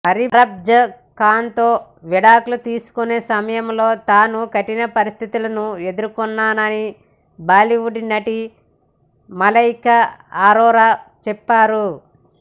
అర్భాజ్ ఖాన్తో విడాకులు తీసుకునే సమయంలో తాను కఠిన పరిస్థితులను ఎదుర్కోన్నానని బాలీవుడ్ నటి మలైకా అరోరా చెప్పారు